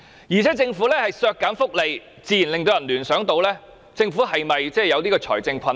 而且，政府削減福利自然令人聯想是否有財政困難。